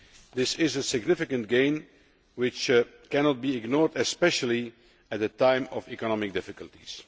This is a significant gain, which cannot be ignored especially at this time of economic difficulties.